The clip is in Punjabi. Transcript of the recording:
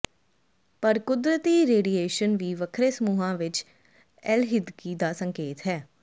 ਪਰ ਕੁਦਰਤੀ ਰੇਡੀਏਸ਼ਨ ਵੀ ਵੱਖਰੇ ਸਮੂਹਾਂ ਵਿੱਚ ਅਲਹਿਦਗੀ ਦਾ ਸੰਕੇਤ ਹੈ